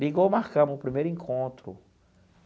Ligou, marcamos o primeiro encontro.